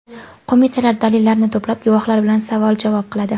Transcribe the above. Qo‘mitalar dalillarni to‘plab, guvohlar bilan savol-javob qiladi.